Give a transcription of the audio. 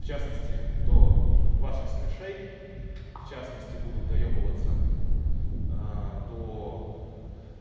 в частности до ваших смиршей в частности буду доёбываться до